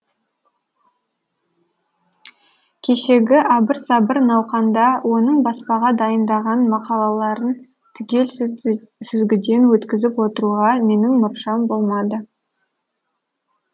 кешегі абыр сабыр науқанда оның баспаға дайындаған мақалаларын түгел сүзгіден өткізіп отыруға менің мұршам болмады